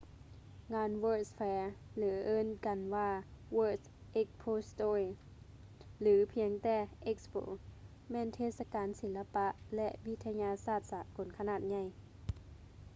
ງານ world's fair ຫຼື ທີ່ເອີ້ນກັນວ່າ world expositio ຫຼື ພຽງແຕ່ expo ແມ່ນເທດສະການສີລະປະ ແລະ ວິທະຍາສາດສາກົນຂະໜາດໃຫຍ່